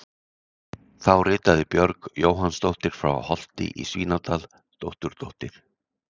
Þá ritaði Björg Jóhannsdóttir frá Holti í Svínadal, dótturdóttir